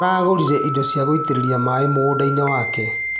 Aragũrire indo cia gũitĩrĩria maĩ mũgũndainĩ wake.